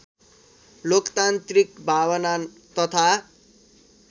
लोकतान्त्रिक भावना तथा